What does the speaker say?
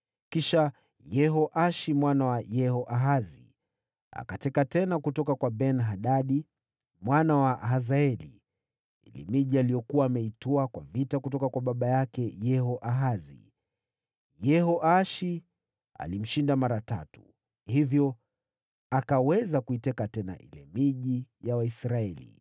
Kisha Yehoashi mwana wa Yehoahazi akateka tena kutoka kwa Ben-Hadadi mwana wa Hazaeli ile miji aliyokuwa ameitwaa kwa vita kutoka kwa baba yake Yehoahazi. Yehoashi alimshinda mara tatu, hivyo akaweza kuiteka tena ile miji ya Waisraeli.